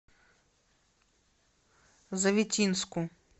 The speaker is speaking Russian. завитинску